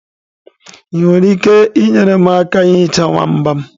Ị nwere ike inyere m aka ihicha nwamba m?